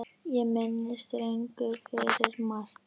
Ég minnist Rögnu fyrir margt.